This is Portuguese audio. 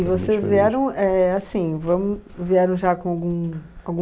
E vocês vieram éh, assim, vamos, vieram já com algum, algum